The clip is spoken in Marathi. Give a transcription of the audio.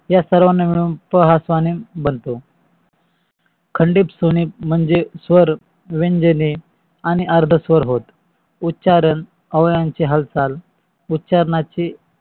या सर्वाना मिळून स्वहा कानून बनतो खंडित स्वने म्हणजे स्वर, व्यंजने आणि अर्धस्वर होय. उच्चारण अवयवांची हालचाल उच्चार्नाची